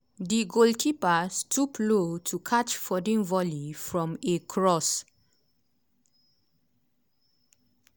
di goalkeeper stoop low to catch foden volley from a cross.